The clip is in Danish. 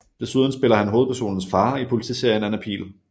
Desuden spiller han hovedpersonens far i politiserien Anna Pihl